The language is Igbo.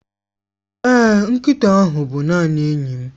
Èé, nkịta ahụ bụ naanị enyi m.